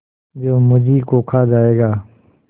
जो मुझी को खा जायगा